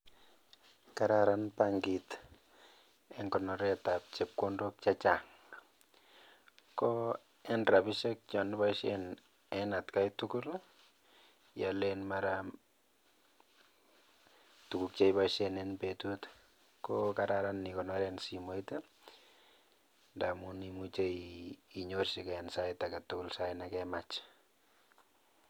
Kararan bankit eng konoret ab chepkondok chechang. Ko en rapishek chon iboisien en atkai tugul ialen mara tuguk che iboisien en betut ko kararan ikonoren simoit ndamun imuchei inyorchiken sait ake tugul sait ne kemach.